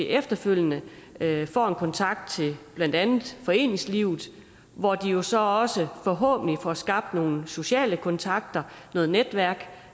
efterfølgende kan få en kontakt til blandt andet foreningslivet hvor de jo så også forhåbentlig får skabt nogle sociale kontakter noget netværk